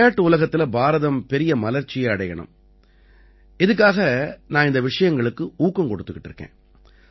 விளையாட்டு உலகத்தில பாரதம் பெரிய மலர்ச்சியை அடையணும் இதுக்காக நான் இந்த விஷயங்களுக்கு ஊக்கம் கொடுத்துட்டு இருக்கேன்